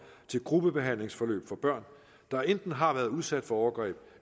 til gruppebehandlingsforløb for børn der enten har været udsat for overgreb